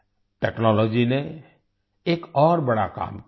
technology ने एक और बड़ा काम किया है